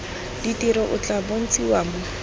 ditiro o tla bontshiwa mo